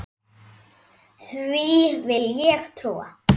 Því vill ég trúa.